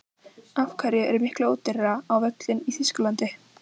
Af hverju er miklu ódýrara á völlinn í Þýskalandi?